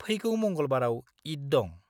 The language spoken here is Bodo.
फैगौ मंगलबाराव ईद दं।